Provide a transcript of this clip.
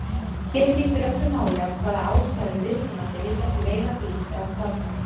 Hér skiptir öllu máli af hvaða ástæðu viðkomandi vill ekki veiða dýr eða slátra.